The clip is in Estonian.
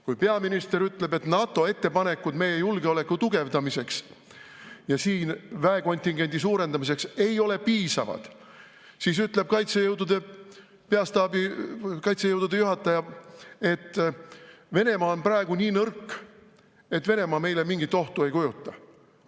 Kui peaminister ütleb, et NATO ettepanekud meie julgeoleku tugevdamiseks ja siin väekontingendi suurendamiseks ei ole piisavad, siis ütleb Kaitsejõudude Peastaabi kaitsejõudude juhataja, et Venemaa on praegu nii nõrk, et Venemaa meile mingit ohtu ei kujuta.